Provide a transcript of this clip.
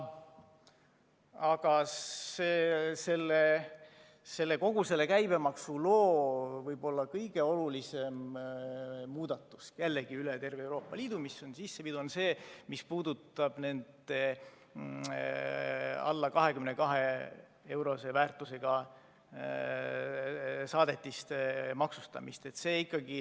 Aga kogu selle käibemaksuloo võib-olla kõige olulisem muudatus, mis on jällegi üle terve Euroopa Liidu sisse viidud, puudutab alla 22‑eurose väärtusega saadetiste maksustamist.